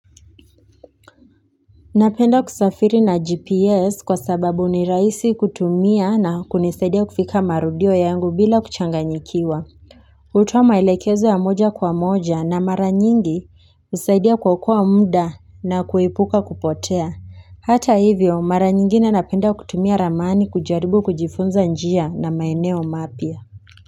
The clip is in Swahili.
Napenda kusafiri na GPS kwa sababu ni rahisi kutumia na kunisaidia kufika marudio yangu bila kuchanganyikiwa. Hutoa maelekezo ya moja kwa moja na mara nyingi husaidia kuokoa mda na kuepuka kupotea. Hata hivyo mara nyingine napenda kutumia ramani kujaribu kujifunza njia na maeneo mapya.